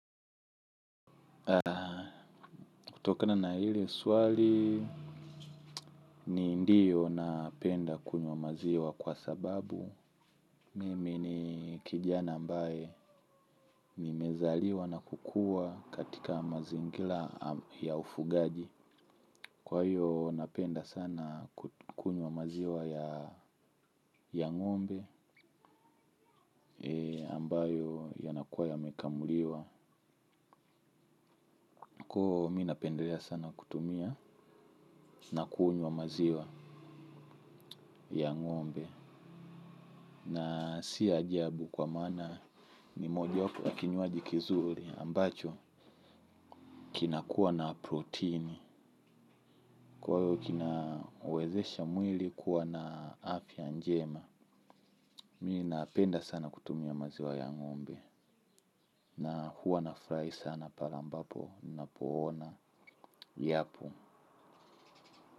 Kutokana na lile swali ni ndiyo napenda kunywa maziwa kwa sababu mimi ni kijana ambaye nimezaliwa na kukuwa katika mazingira ya ufugaji. Kwa hiyo napenda sana kunywa maziwa ya ng'ombe ambayo yanakuwa yamekamuliwa. Kwa hiyo mi napenda ya sana kutumia na kunywa maziwa ya ng'ombe. Na si ajabu kwa maana ni moja wapo ya kinywaji kizuri ambacho kinakuwa na protini. Kwa hiyo kina uwezesha mwili kuwa na afya njema. Mi napenda sana kutumia maziwa ya ngombe. Na huwa nafurahi sana pale ambapo napoona yapo.